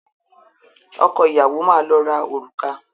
Ọkọ ìyàwó máa lọ ra òrùka.